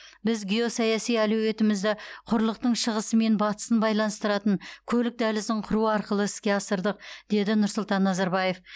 біз геосаяси әлеуетімізді құрлықтың шығысы мен батысын байланыстыратын көлік дәлізін құру арқылы іске асырдық деді нұрсұлтан назарбаев